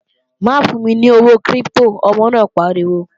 Má fún mi ní owó kírípítò, ọmọ náà pariwo!